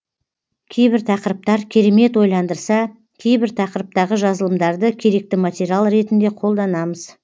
кейбір тақырыптар керемет ойландырса кейбір тақырыптағы жазылымдарды керекті материал ретінде қолданамыз